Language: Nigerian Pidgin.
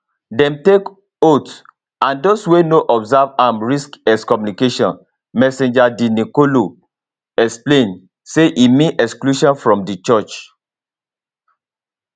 dem take oath and those wey no observe am risk excommunication msgr de nicolo explain say e mean exclusion from di church